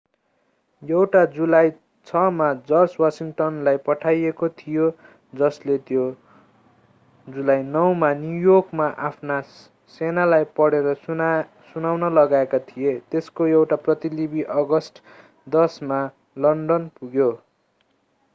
एउटा जुलाई 6 मा जर्ज वाशिङटनलाई पठाइएको थियो जसले त्यो जुलाई 9 मा न्युयोर्कमा आफ्ना सेनालाई पढेर सुनाउन लगाएका थिए त्यसको एउटा प्रतिलिपि अगस्त 10 मा लन्डन पुग्यो